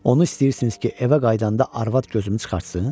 "Onu istəyirsiniz ki, evə qayıdanda arvad gözümü çıxartsın?